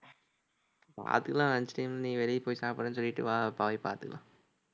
பாத்துக்கலாம். lunchtime நீ வெளிய போய் சாப்பிடறேன்னு சொல்லிட்டு வா போய் பாத்துக்கலாம்